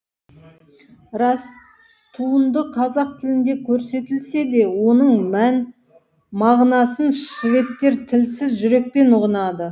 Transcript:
рас туынды қазақ тілінде көрсетілсе де оның мән мағынасын шведтер тілсіз жүрекпен ұғынады